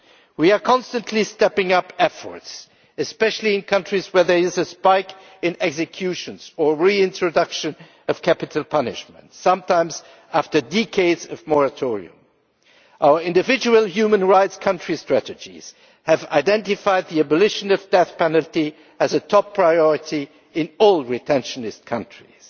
We are constantly stepping up efforts, especially in countries where there is a spike in executions or the reintroduction of capital punishment, sometimes after decades of moratorium. Our individual human rights country strategies have identified the abolition of the death penalty as a top priority in all retentionist countries.